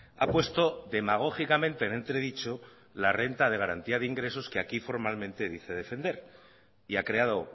ha puesto demagógicamente en entredicho la renta de garantía de ingresos que aquí formalmente dice defender y ha creado